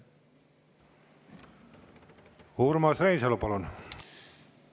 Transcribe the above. Urmas Reinsalu, palun!